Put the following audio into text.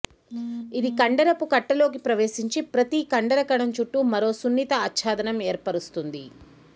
ఇది కండరపు కట్టలోకి ప్రవేశించి ప్రతి కండర కణం చుట్టూ మరో సున్నిత ఆచ్ఛాదనం ఏర్పరుస్తుంది